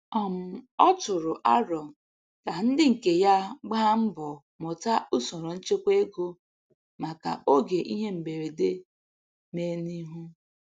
um Ọ tụrụ arọ ka ndị nke ya gbaa mbọ mụta usoro nchekwa ego maka oge ihe mberede me n'ihu.